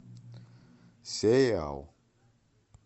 сериал